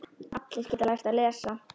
Allir geta lært að lesa.